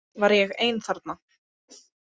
Var ég ein þarna?